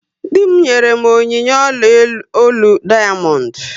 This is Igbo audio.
Dị m nyere m onyinye ọla ólú dayamondu